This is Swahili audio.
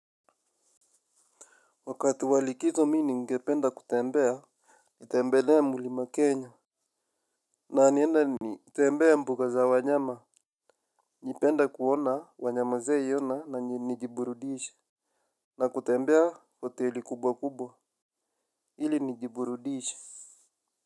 Wakati walikizo mi ni ngependa kutembea nitembelee mulima Kenya. Na niende nitembee mbuga za wanyama. Nipenda kuona wanyama zijaiona na njiburudishe. Na kutembea hoteli kubwa kubwa hili njiburudisha.